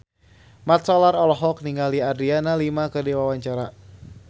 Mat Solar olohok ningali Adriana Lima keur diwawancara